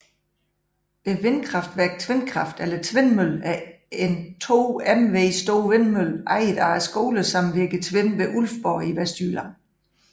Vindkraftværket Tvindkraft eller Tvindmøllen er en 2 MW stor vindmølle ejet af skolesamvirket Tvind ved Ulfborg i Vestjylland